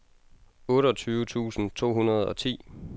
otteogtyve tusind to hundrede og ti